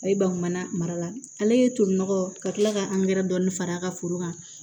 A ye bakumana mara ale ye tolinɔgɔ ka kila ka dɔɔni far'a ka foro kan